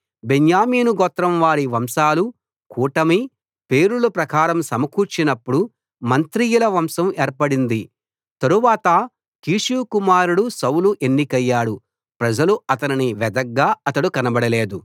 బెన్యామీను గోత్రంవారి వంశాలు కూటమి పేరుల ప్రకారం సమకూర్చినపుడు మత్రియుల వంశం ఏర్పడింది తరువాత కీషు కుమారుడు సౌలు ఎన్నికయ్యాడు ప్రజలు అతనిని వెదగ్గా అతడు కనబడలేదు